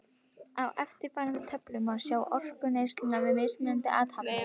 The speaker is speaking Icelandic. Á eftirfarandi töflu má sjá orkuneysluna við mismunandi athafnir.